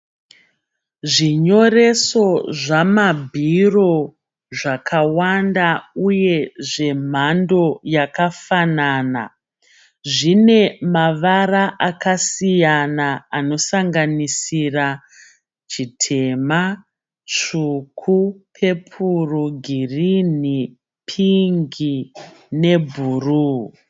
Zvinyoreso zvamabhiro zvakawanda uye zvemhando yakafanana. Zvine mavara akasiyana anosanganisira chitema, tsvuku, pepuru, girinhi, pingi nebhuruwu.